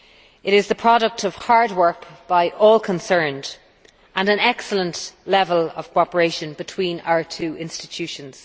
It is the product of hard work by all concerned, and an excellent level of cooperation between our two institutions.